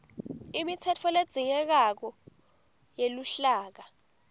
imitsetfo ledzingekako yeluhlaka